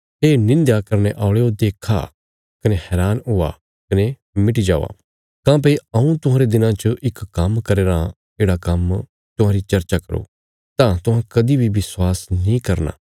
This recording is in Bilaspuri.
हे निंध्या करने औल़यो देक्खा कने हैरान होआ कने मिटी जावा काँह्भई हऊँ तुहांरे दिनां च इक काम्म करया राँ येढ़ा काम्म सै जे कोई तुहांजो चर्चा करो तां तुहां कदीं बी विश्वास नीं करना